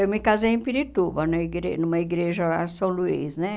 Eu me casei em Pirituba, na igre numa igreja a São Luís, né?